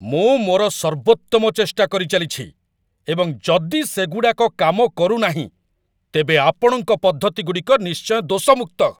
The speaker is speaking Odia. ମୁଁ ମୋର ସର୍ବୋତ୍ତମ ଚେଷ୍ଟା କରିଚାଲିଛି, ଏବଂ ଯଦି ସେଗୁଡ଼ାକ କାମ କରୁନାହିଁ ତେବେ ଆପଣଙ୍କ ପଦ୍ଧତିଗୁଡ଼ିକ ନିଶ୍ଚୟ ଦୋଷମୁକ୍ତ ।